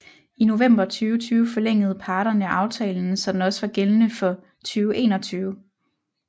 I november 2020 forlængede parterne aftalen så den også var gældende for 2021